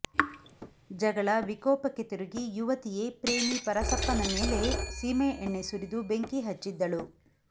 ಜಗಳ ವಿಕೋಪಕ್ಕೆ ತಿರುಗಿ ಯುವತಿಯೇ ಪ್ರೇಮಿ ಪರಸಪ್ಪನ ಮೇಲೆ ಸೀಮೆಎಣ್ಣೆ ಸುರಿದು ಬೆಂಕಿಹಚ್ಚಿದ್ದಳು